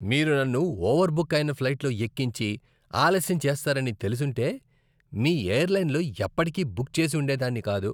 మీరు నన్ను ఓవర్బుక్ అయిన ఫ్లైట్లో ఎక్కించి ఆలస్యం చేస్తారని తెలిసుంటే మీ ఎయిర్లైన్లో ఎప్పటికీ బుక్ చేసి ఉండేదాన్ని కాదు.